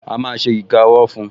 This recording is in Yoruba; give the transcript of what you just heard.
A má ṣe iga ọwọ́ fun